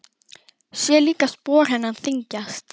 Sé líka að spor hennar þyngjast.